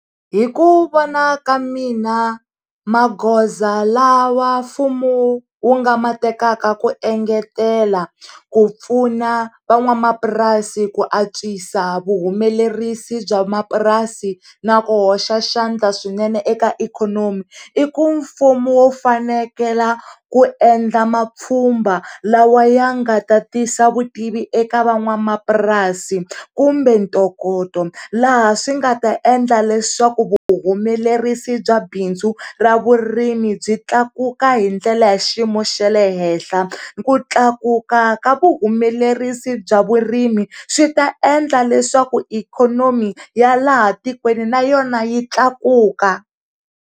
Hi ku vona ka mina magoza lawa mfumo wu nga ma tekaka ku engetela ku pfuna van'wamapurasi ku antswisa vuhumelerisi bya mapurasi na ku hoxa xandla swinene eka ikhonomi i ku fumo wu fanekele ku endla mapfhumba lawa ya nga ta tisa vutivi eka van'wamapurasi kumbe ntokoto laha swi nga ta endla leswaku vuhumelerisi bya bindzu ra vurimi byi tlakuka hi ndlela ya xiyimo xa le henhla ku tlakuka ka vuhumelerisa bya vurimi swi ta endla leswaku ikhonomi ya laha tikweni na yona yi tlakuka.